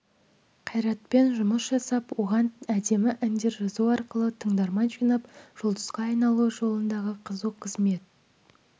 қайратпен жұмыс жасап оған әдемі әндер жазу арқылы тыңдарман жинап жұлдызға айналуы жолында қызу қызмет